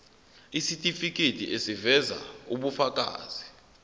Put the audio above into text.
isitifiketi eziveza ubufakazi